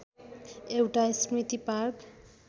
एउटा स्मृति पार्क